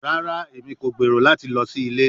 Rara, Emi ko gbero lati lọ si ile